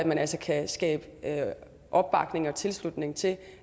man altså kan skabe opbakning og tilslutning til